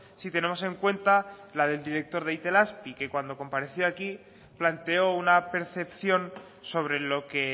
si tenemos en cuenta la del director de itelazpi que cuando compareció aquí planteó una percepción sobre lo que